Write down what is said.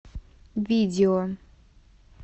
видео